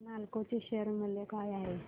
आज नालको चे शेअर मूल्य काय आहे